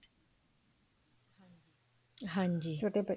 ਹਾਂਜੀ